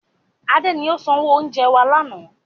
Adé ni ó sanwó oúnjẹ wá lànà